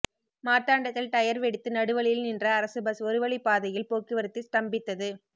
மார்த்தாண்டத்தில் tyre வெடித்து நடுவழியில் நின்ற அரசு பஸ் ஒருவழிப்பாதையில் போக்குவரத்து ஸ்தம்பித்தது